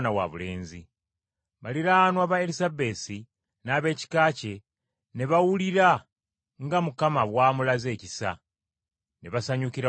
Baliraanwa ba Erisabesi n’ab’ekika kye ne bawulira nga Mukama bw’amulaze ekisa, ne basanyukira wamu naye.